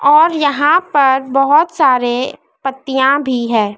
और यहां पर बहुत सारे पत्तियां भी है।